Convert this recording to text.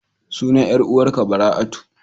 Sunan 'yar uwar ka Bara'atu.